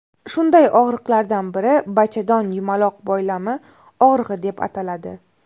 Shunday og‘riqlardan biri bachadon yumaloq boylami og‘rig‘i deb ataladi.